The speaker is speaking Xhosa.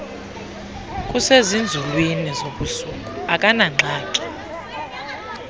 kusezinzulwini zobusuku akanangxaki